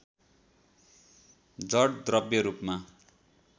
जड द्रव्य रूपमा